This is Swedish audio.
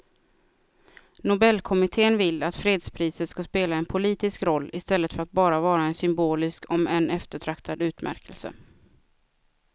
Nobelkommittén vill att fredspriset ska spela en politisk roll i stället för att bara vara en symbolisk om än eftertraktad utmärkelse.